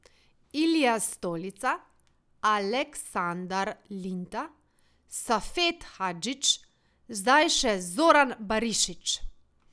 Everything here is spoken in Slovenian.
Ilija Stolica, Aleksandar Linta, Safet Hadžić, zdaj še Zoran Barišić.